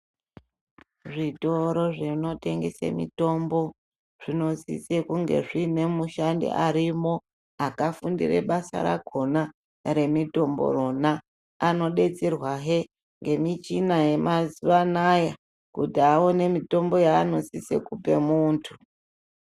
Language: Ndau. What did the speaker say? Zvitoro zvinotengese mitombo zvinosise kunge zviine mushandi arimwo akafundire basa rakona remitombo rona. Anodetserwahe ngemichina yemazuwa anaya kuti aone mitombo yaanosise kupe muntu.